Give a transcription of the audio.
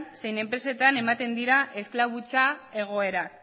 zein enpresetan ematen dira esklabutza egoerak